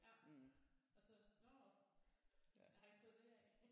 Ja og så nåh jeg har ikke fået det her af